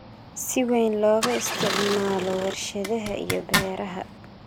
si weyn looga isticmaalo warshadaha iyo beeraha.